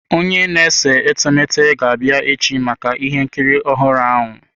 Onye na-ese etemeete ga-abịa echi maka ihe nkiri ọhụrụ ahụ.